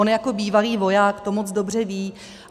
On jako bývalý voják to moc dobře ví.